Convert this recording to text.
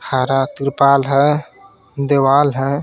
हरा कृपाल हे दिवाल हे.